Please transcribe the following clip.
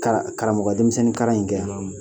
Kan Karamɔgɔ denmisɛnninkalan in kɛ wa?